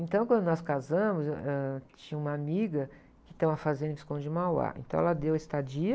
Então quando nós casamos, ãh, ãh, tinha uma amiga que tem uma fazenda que em Visconde Mauá, então ela deu a estadia,